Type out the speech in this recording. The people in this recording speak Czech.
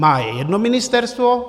Má je jedno ministerstvo?